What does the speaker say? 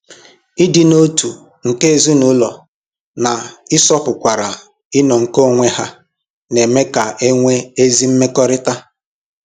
Ịdị n'otu nke ezinụlọ na-ịsọpụkwara ịnọ nke onwe ha na-eme ka e nwee ezi mmekọrịta.